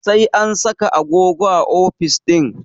Sai an saka agogo a ofis ɗinnan